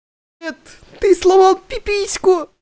ты сломал пиписку